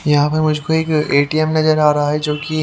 यहां पर मुझको एक एटीएम नजर आ रहा है जो की --